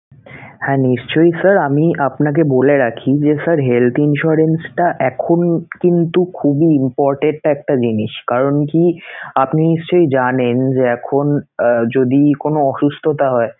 হ্যা নিশ্চয়ই sir আমি আপনাকে বলে রাখি যে sir health insurance টা এখন কিন্তু খুবই important একটা জিনিস কারণ কি? আপনি নিশ্চয়ই জানেন যে এখন যদি কোন অসুস্থতা হয়